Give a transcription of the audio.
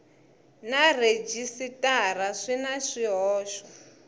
na rhejisitara swi na swihoxo